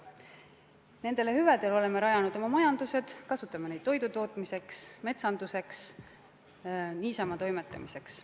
Nendele hüvedele oleme rajanud oma majanduse, me kasutame neid toidu tootmiseks, metsanduseks, niisama toimetamiseks.